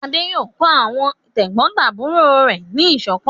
Adé yóò kọ́ àwọn tẹ̀gbọ́ntàbúrò rẹ̀ ní ìṣọ̀kan!